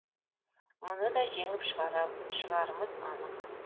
мұны да жеңіп шығарымыз анық